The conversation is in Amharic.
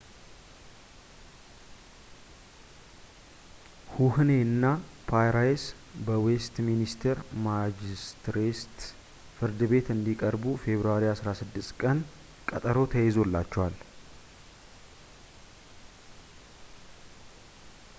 ሁህኔ እና ፕራይስ በዌስትሚኒስተር ማጅስትሬትስ ፍርድ ቤት እንዲቀርቡ ፌብርዋሪ 16 ቀን ቀጠሮ ተይዞላቸዋል